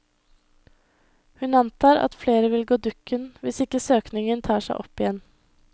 Hun antar at flere vil gå dukken, hvis ikke søkningen tar seg opp igjen.